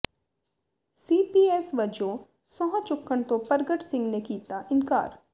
ਸੀ P S ਵਜੋਂ ਸਹੁੰ ਚੁੱਕਣ ਤੋਂ ਪਰਗਟ ਸਿੰਘ ਨੇ ਕੀਤਾ ਇਨਕਾਰ